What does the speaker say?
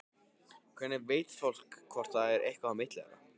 Hvernig veit fólk hvort það er eitthvað á milli þeirra?